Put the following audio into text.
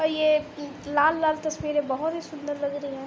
ये लाल लाल तस्वीरें बहोत ही सुंदर लग रही हैं।